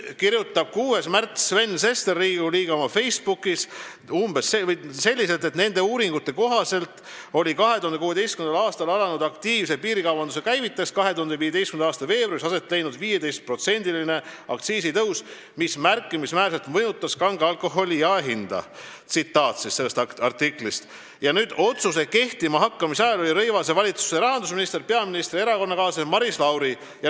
Riigikogu liige Sven Sester kirjutas 6. märtsil oma Facebookis selle artikli põhjal umbes selliselt, et nende uuringute kohaselt oli 2016. aastal alanud aktiivse piirikaubanduse käivitajaks 2015. aasta veebruaris aset leidnud 15%-line aktsiisitõus, mis märkimisväärselt mõjutas kange alkoholi jaehinda, ja et otsuse kehtima hakkamise ajal oli Rõivase valitsuse rahandusminister peaministri erakonnakaaslane Maris Lauri.